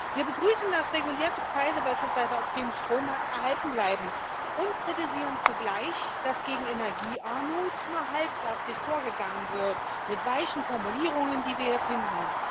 Wir begrüßen, dass regulierte Preise, beispielsweise auf dem Strommarkt, erhalten bleiben, und kritisieren zugleich, dass gegen Energiearmut nur halbherzig vorgegangen wird mit weichen Formulierungen, die wir hier finden.